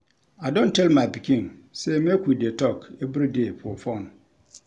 I don tell my pikin sey make we dey talk everyday for fone.